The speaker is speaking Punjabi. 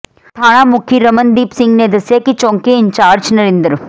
ਥਾਣਾ ਮੁਖੀ ਰਮਨਦੀਪ ਸਿੰਘ ਨੇ ਦੱਸਿਆ ਕਿ ਚੌਕੀ ਇੰਚਾਰਜ ਨਰਿੰਦਰ